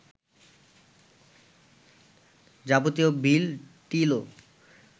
যাবতীয় বিল-টিলও